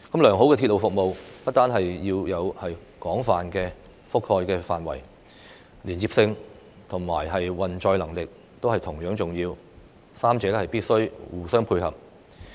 良好的鐵路服務不單要有廣泛的覆蓋範圍，連接性和運載能力亦同樣重要，三者必須互相配合。